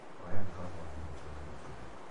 hoyani baba wanyu rũũtha nĩguo tũthiĩ.